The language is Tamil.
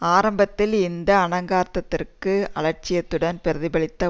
ஆரம்பத்தில் இந்த அனங்காததிற்கு அலட்சியத்துடன் பிரதிபலித்த